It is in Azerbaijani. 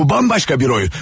Bu bambaşqa bir oyun.